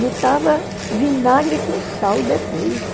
Botava vinagre com sal depois.